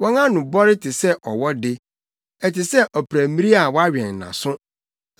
Wɔn ano bɔre te sɛ ɔwɔ de, ɛte sɛ ɔprammiri a wawɛn nʼaso,